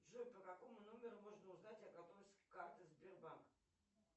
джой по какому номеру можно узнать о готовности карты сбербанк